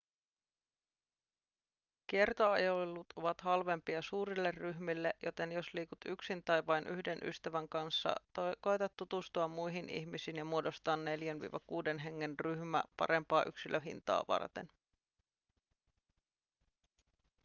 kiertoajelut ovat halvempia suurille ryhmille joten jos liikut yksin tai vain yhden ystävän kanssa koeta tutustua muihin ihmisiin ja muodostaa 4-6 hengen ryhmä parempaa yksilöhintaa varten